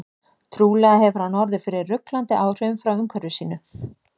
Trúlega hefur hann orðið fyrir ruglandi áhrifum frá umhverfi sínu.